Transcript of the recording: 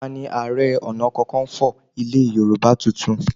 Tani Ààrẹ Ọ̀nàkakanfò ilẹ̀ Yorùbá tuntun?